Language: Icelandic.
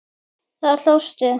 Þá hlóstu.